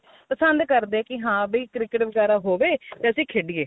ਪਸੰਦ ਕਰਦੇ ਕੀ ਹਾਂ ਵੀ cricket ਵਗੈਰਾ ਹੋਵੇ ਤੇ ਅਸੀਂ ਖੇਡੀਏ